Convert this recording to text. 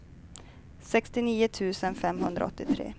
sextionio tusen femhundraåttiotre